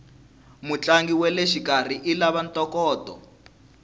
mutlangi waleshikarhi ilava ntokoto